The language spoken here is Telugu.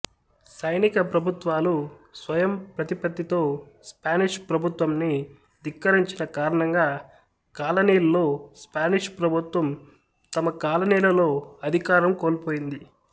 సైనికప్రభుత్వాలు స్వయంప్రతిపత్తితో స్పానిష్ ప్రభుత్వంన్ని ధిక్కరించిన కారణంగా కాలనీల్లో స్పానిష్ ప్రభుత్వం తమకాలనీలలో అధికారం కోల్పోయింది